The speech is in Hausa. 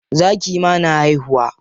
Zaki ma na haihuwa.